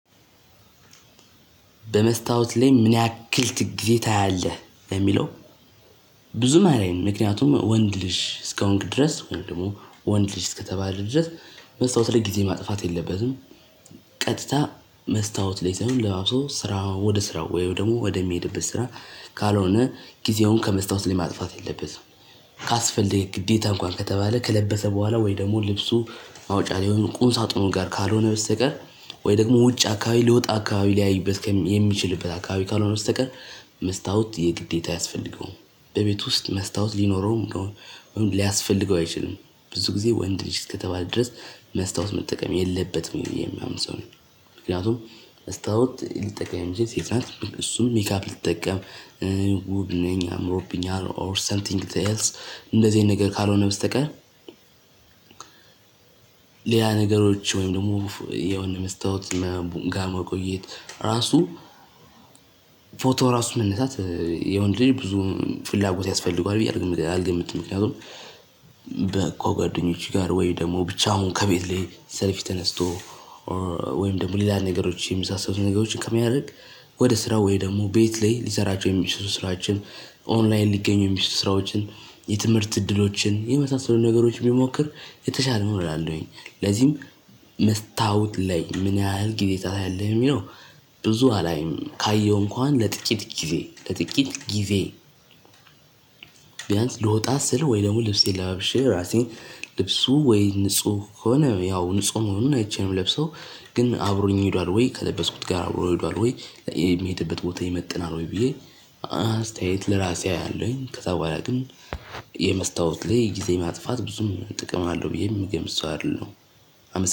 በመስታወት ላይ ምን ያክል ጊዜ ታያለህ? ለሚለው ብዙም አላይም። ምክንያቱም ወንድ ልጅ እስከሆንክ ድረስ ወይም ደግሞ ወንድ ልጅ እስከተባለ ድረስ መስታወት ላይ ጊዜ ማጥፋት የለበትም። ቀጥታ መስታወት ላይ ሳይሆን ለባብሶ ስራ ወደ ስራው ወይም ደግሞ ወደሚሄድበት ስራ፤ ካልሆነ ጊዜውን ከመስታወት ላይ ማጥፋት የለበትም። ካስፈለገ ግዴታ እንኳን ከተባለ ከለበሰ በኋላ ወይም ደግሞ ልብሱ መውጫ ላይ ሆኖ ቁም ሳጥኑ ጋር ካልሆነ በስተቀር ወይም ደግሞ ውጭ አካባቢ ሊወጣ አካባቢ ሊያይበት የሚችልበት አካባቢ ካልሆነ በስተቀር መስታወት የግዴታ አያስፈልገውም። በቤቱ ውስጥ መስታወት ሊኖረውም ወይም ሊያስፈልገው አይችልም። ብዙ ጊዜ ወንድ ልጅ እስከተባለ ድረስ መስታወት መጠቀም የለበትም ብዬ የማምን ሰው ነኝ። ምክንያቱም መስታወት ልትጠቀም የምትችል ሴት ናት። እሱም ሜካፕ ልትጠቀም ውብ ነኝ፤ አምሮብኛል፤ ኦር ሰምቲንግ ኤልስ እንደዚህ አይነት ነገር ካልሆነ በስተቀር ሌላ ነገሮች ወይም ደግሞ የሆነ መስታወት ምናምን ጋር መቆየት ራሱ ፎቶ ራሱ መነሳት የወንድ ልጅ ብዙ ፍላጎት ያስፈልገዋል ብዬ አልገምትም። ምክንያቱም ከጓደኞቼ ጋር ወይም ደግሞ ብቻውን ከቤት ላይ ሰልፊ ተነስቶ ወይም ደግሞ ሌላ ነገሮች የመሳሰሉ ነገሮችን ከሚያደርግ ወደ ስራ ወይም ደግሞ ቤት ላይ ሊሰራቸው የሚችሉ ስራዎችን፤ ኦንላይን ሊገኙ የሚችሉ ስራዎችን፤ የትምህርት እድሎችን፤ የመሳሰሉ ነገሮችን ቢሞክር የተሻለ ነው እላለሁኝ። ለዚህም መስታወት ላይ ምን ያህል ጊዜ ታያለህ? ለሚለው፤ ብዙ አላይም። ካየሁ እንኳን ለጥቂት ጊዜ፣ ለጥቂት ጊዜ ቢያንስ ልወጣ ስል ወይም ደግሞ ልብሴን ለባብሼ ራሴን፤ ልብሱ ወይም ንጹህ ከሆነ ያው ንጹህ መሆኑን አይቼ ነው የምለብሰው። ግን አብሮኝ ሄዷል ወይ? ከለበስኩት ጋር አብሮ ሄዷል ወይ? የምሄድበት ቦታ ይመጥናል ወይ? ብዬ አስተያየት ለራሴ አለኝ። ከዛ በኋላ ግን የመስታወት ላይ ጊዜ ማጥፋት ብዙም ጥቅም አለው ብዬ የምገምት ሰው አይደለሁም። አመሰግናለሁ።